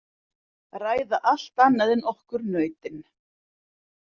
Ræða allt annað en okkur nautin.